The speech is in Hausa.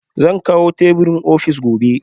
Zan kawo teburin ofis gobe